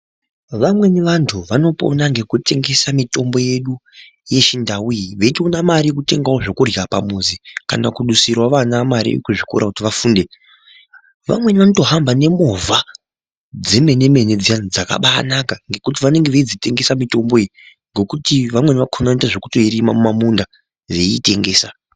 Vamweni vantu vanopona ngekutengesa mitombo yedu yechindau iyi. Veitoona mari yekutengavo zvekurya pamuzi kana kudusiravo vana mari yekuzvikora kuti vafunde. Vamweni vanotofamba nemovha dzemene-mene dziya dzakabanaka ngekuti vanenge veidzitengesa mitombo iyi. Nekuti vamweni vakona vanotoita zvekutoirima muma munda veiitengesa.